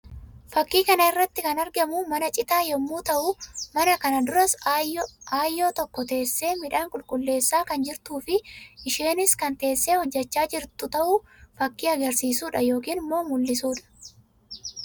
Fakkii kana irratti kan argamu mana citáa yammuu ta'uu; mana kana duras aayyoo tokko teessee midhaan qulqulleessaa kan jirtuu fi isheenis kan teessee hojjechaa jirtu ta'u fakkii agarsiisuu dha yookiin mul'isuu dha.